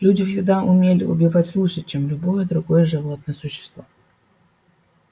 люди всегда умели убивать лучше чем любое другое животное существо